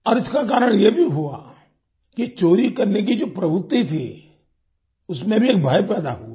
और इसका कारण ये भी हुआ कि चोरी करने की जो प्रवृति थी उसमें भी एक भय पैदा हुआ